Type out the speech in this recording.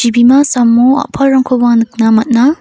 jibima samo a·palrangkoba nikna man·a.